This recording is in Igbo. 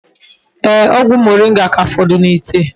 Ee, ogwu moringa ka foduru n'ite